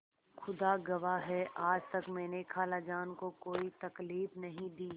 खुदा गवाह है आज तक मैंने खालाजान को कोई तकलीफ नहीं दी